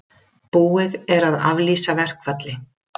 Búið er að aflýsa verkfalli